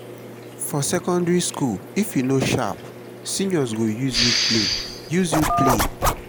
for secondary school if you no sharp seniors go use you play use you play